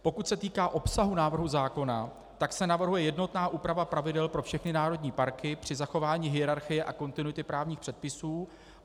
Pokud se týká obsahu návrhu zákona, tak se navrhuje jednotná úprava pravidel pro všechny národní parky při zachování hierarchie a kontinuity právních předpisů.